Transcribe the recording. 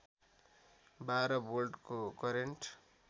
बाह्र भोल्टको करेन्ट